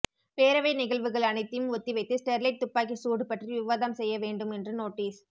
பேரவை நிகழ்வுகள் அனைத்தையும் ஒத்திவைத்து ஸ்டெர்லைட் தூப்பாக்கி சூடு பற்றி விவாதம் செய்ய வேண்டும் என்று நோட்டீஸ்